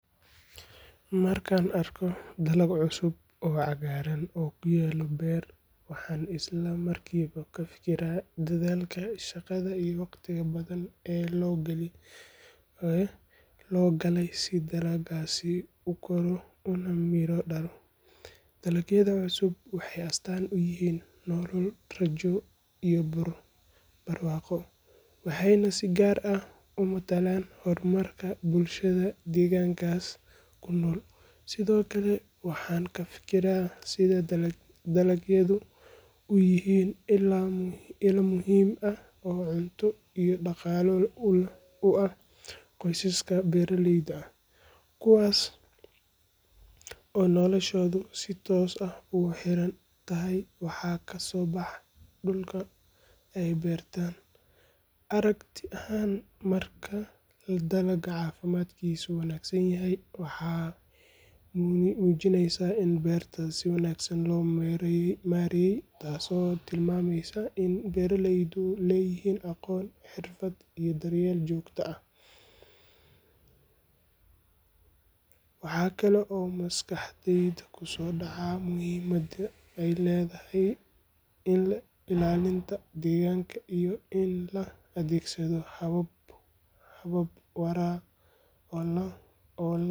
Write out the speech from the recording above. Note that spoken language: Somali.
Markaan arko dalag cusub oo cagaaran oo ku yaal beer, waxaan isla markiiba ka fikiraa dadaalka, shaqada iyo waqtiga badan ee loo galay si dalaggaasi u koro una miro-dhalo. Dalagyada cusub waxay astaan u yihiin nolol, rajo iyo barwaaqo, waxayna si gaar ah u matalaan hormarka bulshada deegaankaas ku nool. Sidoo kale, waxaan ka fikiraa sida dalagyadu u yihiin il muhiim ah oo cunto iyo dhaqaale u ah qoysaska beeraleyda ah, kuwaas oo noloshoodu si toos ah ugu xiran tahay waxa ka soo baxa dhulka ay beerteen. Aragti ahaan, marka dalag caafimaadkiisu wanaagsan yahay, waxay muujinaysaa in beerta si wanaagsan loo maareeyey, taasoo tilmaamaysa in beeraleydu leeyihiin aqoon, xirfad iyo daryeel joogto ah. Waxa kale oo maskaxdayda ku soo dhaca muhiimadda ay leedahay ilaalinta deegaanka, iyo in la adeegsado habab waara.